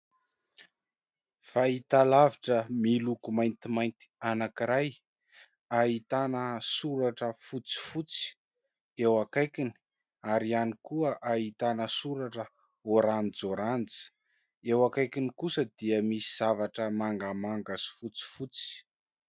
Fahitalavitra miloko maintimainty anankiray ahitana soratra fotsifotsy eo akaikiny ary ihany koa ahitana soratra oranjioranjy eo akaikiny kosa dia misy zavatra mangamanga sy fotsifotsy.